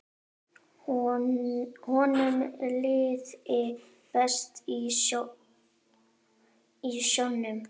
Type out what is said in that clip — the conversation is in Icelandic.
Honum liði best í sjónum.